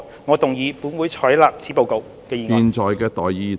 我動議"本會採納此報告"的議案。